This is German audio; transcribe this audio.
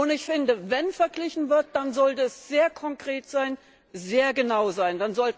Ich finde, wenn verglichen wird, dann sollte es sehr konkret und sehr genau sein.